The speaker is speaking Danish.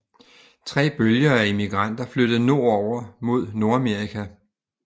Tre bølger af imigranter flyttede nordover mod Nordamerika